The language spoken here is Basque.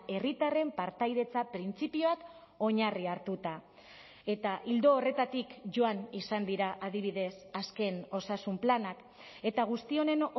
herritarren partaidetza printzipioak oinarri hartuta eta ildo horretatik joan izan dira adibidez azken osasun planak eta guzti honen